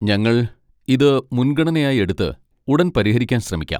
ഞങ്ങൾ ഇത് മുൻഗണനയായി എടുത്ത് ഉടൻ പരിഹരിക്കാൻ ശ്രമിക്കാം.